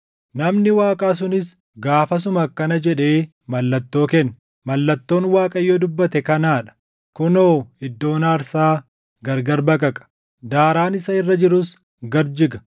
Namni Waaqaa sunis gaafasuma akkana jedhee mallattoo kenne; “Mallattoon Waaqayyo dubbate kanaa dha; kunoo iddoon aarsaa gargar baqaqa; daaraan isa irra jirus gad jiga.”